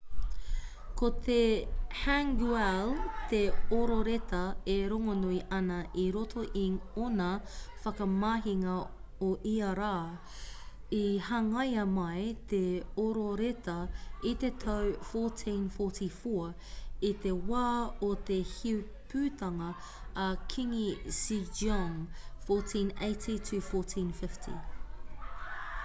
ko te hangeul te ororeta e rongonui ana i roto i ōna whakamahinga o ia rā. i hangaia mai te ororeta i te tau 1444 i te wā o te heipūtanga a kīngi sejong 1418-1450